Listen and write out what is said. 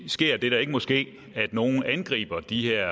sker det der ikke må ske at nogle angriber de her